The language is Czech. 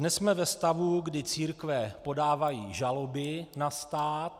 Dnes jsme ve stavu, kdy církve podávají žaloby na stát.